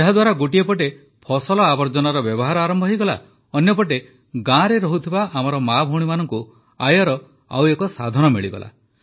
ଏହାଦ୍ୱାରା ଗୋଟିଏ ପଟେ ଫସଲ ଆବର୍ଜନାର ବ୍ୟବହାର ଆରମ୍ଭ ହୋଇଗଲା ଅନ୍ୟପଟେ ଗାଁରେ ରହୁଥିବା ଆମର ମାଆଭଉଣୀମାନଙ୍କୁ ଆୟର ଆଉ ଏକ ସାଧନ ମିଳିଗଲା